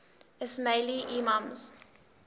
ismaili imams